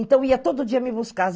Então eu ia todo dia me buscar.